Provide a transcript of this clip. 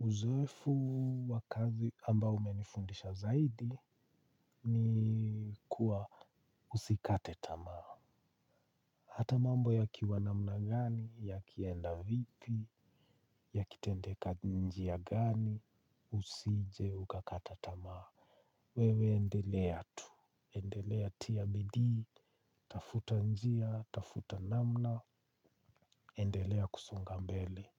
Uzoefu wa kazi ambao umenifundisha zaidi ni kuwa usikate tamaa. Hata mambo yakiwa namna gani? Yakienda vipi? Yakitendeka njia gani? Usije ukakata tamaa. Wewe endelea tu. Endelea tia bidii, tafuta njia, tafuta namna, endelea kusonga mbele.